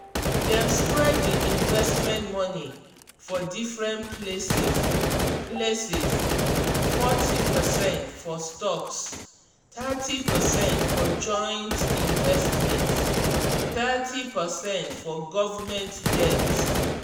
dem spread di investment money for different places: places: forty percent for stocks thirty percent for joint investments thirty percent for government debt.